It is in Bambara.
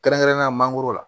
Kɛrɛnkɛrɛnnenya la mangoro